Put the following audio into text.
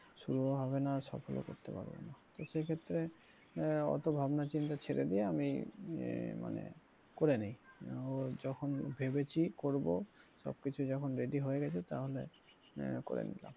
শুরুও হবে না সফল ও করতে পারবনা তো সে ক্ষেত্রে আহ অত ভাবনা চিন্তা ছেড়ে দিয়ে আমি আহ মানে করেনি ও যখন ভেবেছি করব সবকিছু যখন ready হয়ে গেছে তাহলে করে নিলাম।